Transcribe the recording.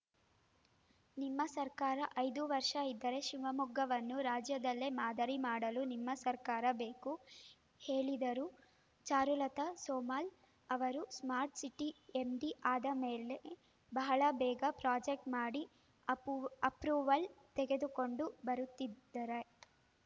ನಿಮ್ಮ ಸರಕಾರ ಐದು ವರ್ಷ ಇದ್ದರೆ ಶಿವಮೊಗ್ಗವನ್ನು ರಾಜ್ಯದಲ್ಲೇ ಮಾದರಿ ಮಾಡಲು ನಿಮ್ಮ ಸರ್ಕಾರ ಬೇಕು ಹೇಳಿದರು ಚಾರುಲತಾ ಸೋಮಲ್‌ ಅವರು ಸ್ಮಾರ್ಟ್‌ಸಿಟಿ ಎಂಡಿ ಆದ ಮೇಲೆ ಬಹಳ ಬೇಗ ಪ್ರಾಜೆಕ್ಟ್ ಮಾಡಿ ಅಪೂವು ಅಪ್ರೂವಲ್ ತೆಗೆದುಕೊಂಡು ಬರುತ್ತಿದ್ದಾರೈತ್